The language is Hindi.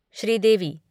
श्रीदेवी